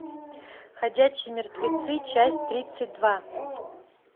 ходячие мертвецы часть тридцать два